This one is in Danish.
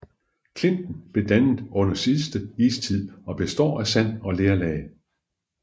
Klinten blev dannet under den sidste istid og består af sand og lerlag